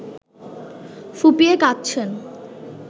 ফুঁপিয়ে কাঁদছেন